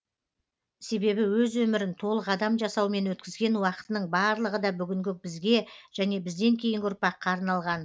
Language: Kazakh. себебі өз өмірін толық адам жасаумен өткізген уақытының барлығы да бүгінгі бізге және бізден кейінгі ұрпаққа арналған